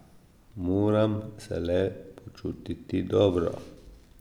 Moram se le počutiti dobro.